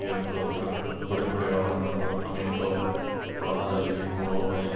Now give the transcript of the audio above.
ஏற்படுவதற்கு அடிப்படையாக நின்று அமெரிக்காவில் உலகந்தழுவிய மூலோபாய